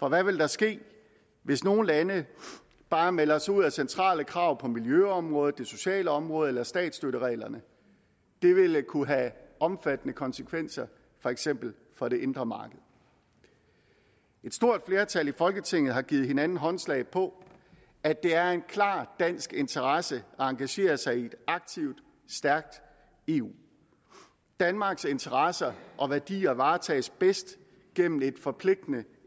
og hvad ville der ske hvis nogle lande bare meldte sig ud af centrale krav på miljøområdet det sociale område eller statsstøttereglerne det ville kunne have omfattende konsekvenser for eksempel for det indre marked et stort flertal i folketinget har givet hinanden håndslag på at det er en klar dansk interesse at engagere sig i et aktivt stærkt eu danmarks interesser og værdier varetages bedst gennem et forpligtende